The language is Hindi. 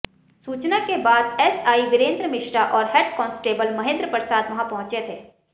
सूचना के बाद एसआई वीरेंद्र मिश्रा और हेड कॉन्सटेबल महेंद्र प्रसाद वहां पहुंचे थे